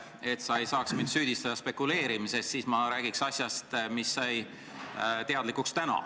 Et sa ei saaks mind spekuleerimises süüdistada, siis räägiks ma asjast, mis sai täna teatavaks.